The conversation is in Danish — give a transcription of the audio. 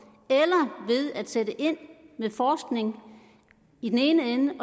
ved at sætte ind med forskning i den ene ende